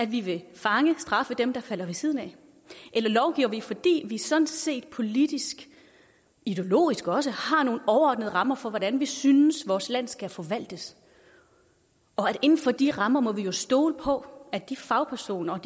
vi vil fange straffe dem der falder ved siden af eller lovgiver vi fordi vi sådan set politisk ideologisk også har nogle overordnede rammer for hvordan vi synes vores land skal forvaltes inden for de rammer må vi jo stole på at de fagpersoner